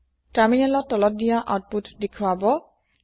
তাৰমিনেলত তলত দিয়া আওতপুত দেখোৱাব